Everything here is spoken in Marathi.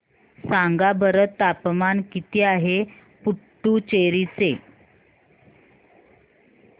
सांगा बरं तापमान किती आहे पुडुचेरी चे